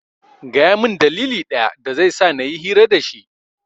Gaya min dalili ɗaya dazai sa nayi hira dashi